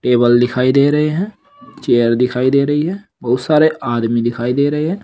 Table दिखाई दे रहे हैं चेयर दिखाई दे रही है बहुत सारे आदमी दिखाई दे रहे हैं।